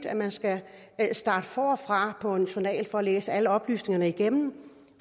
at man skal starte forfra på en journal og læse alle oplysningerne igennem